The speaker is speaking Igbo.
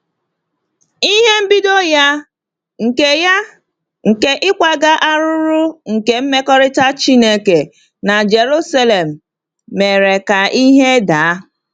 Ihe mbido ya nke ya nke ịkwaga arụrụ nke mmekọrịta Chineke na Jerusalem mere ka ihe daa.